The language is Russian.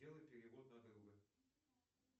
сделай перевод на друга